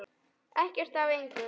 Ekkert af engu.